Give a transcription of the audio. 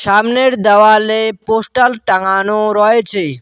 তামনের দেওয়ালে পোস্টাল টাঙানো রয়েচে।